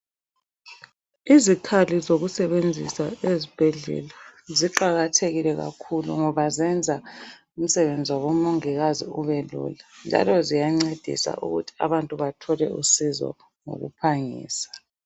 Izikhali zokusebenzisa ezibhedlela ziqakathekile kakhulu ngoba zenza umsebenzi wabomongikazi ube lula njalo ziyancedisa ukuthi abantu bathole usizo ngokuphangisa.